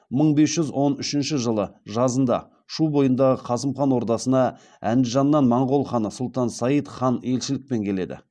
мың бес жүз он үшінші жылы жазында шу бойындағы қасым хан ордасына әндіжаннан моғол ханы сұлтан сайд хан елшілікпен келеді